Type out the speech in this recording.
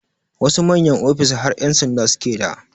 Wasu manyan ofis har ƴan sanda suke d